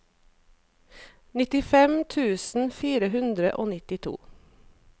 nittifem tusen fire hundre og nittito